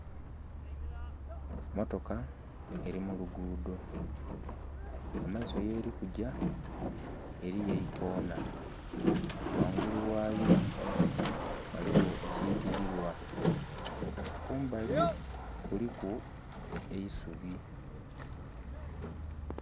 Motoka eri mu lugudho, kumaiso yeri kugya eriyo eikonha, ghangulu ghayo ghaligho ekitililwa kumbali kuliku eisubi.